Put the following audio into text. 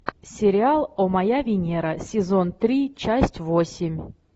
сериал о моя венера сезон три часть восемь